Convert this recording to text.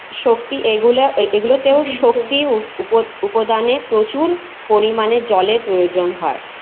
শক্তি এগুলা এগুলোতেও শক্তি উপ উপদানে প্রচুর পরিমানে জলের প্রয়োজন হয়ে